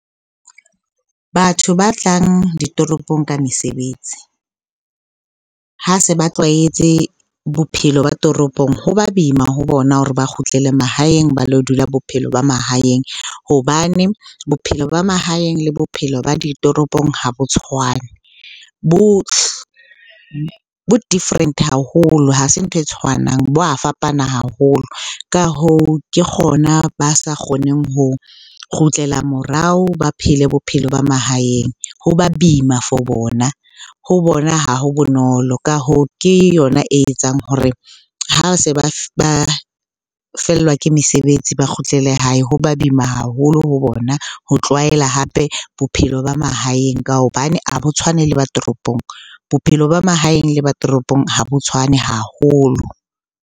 Batho ba tlang ditoropong ka mesebetsi ha se ba tlwaetse bophelo ba toropong, ho ba boima ho bona hore ba kgutlele mahaeng ba lo dula bophelo ba mahaeng. Hobane bophelo ba mahaeng le bophelo ba ditoropong ha bo tshwane. Bo-different haholo, ha se ntho e tshwanang, bo a fapana haholo. Ka hoo, ke kgona ba sa kgoneng ho kgutlela morao ba phele bophelo ba mahaeng. Ho ba boima for bona, ho bona ha ho bonolo. Ka hoo, ke yona e etsang hore ha se fellwa ke mesebetsi ba kgutlele hae ho ba boima haholo ho bona ho tlwaela hape bophelo ba mahaeng ka hobane ha bo tshwane le ba toropong. Bophelo ba mahaeng le ba toropong ha bo tshwane haholo.